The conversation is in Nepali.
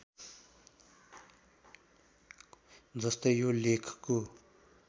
जस्तै यो लेखको